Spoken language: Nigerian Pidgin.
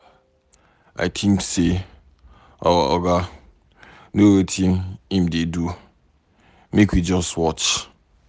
I think say our Oga no wetin im dey do. Make we just watch.